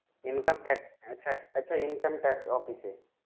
Income tax আচ্ছা আচ্ছা income tax office এ।